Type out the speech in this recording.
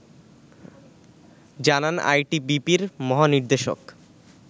জানান আইটিবিপি-র মহানির্দেশক